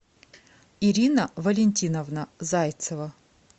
ирина валентиновна зайцева